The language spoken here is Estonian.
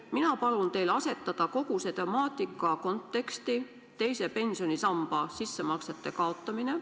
Mina palun teil asetada kogu selle temaatika konteksti "teise pensionisamba sissemaksete kaotamine".